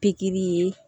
Pikiri ye